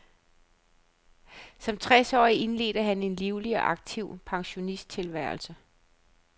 Som tres årig indledte han en livlig og aktiv pensionisttilværelse.